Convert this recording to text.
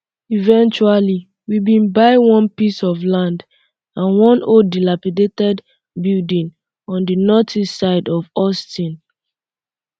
eventually um we bin buy one piece of land um and one old dilapidated building on di northeast side of houston